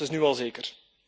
Dat is nu al zeker.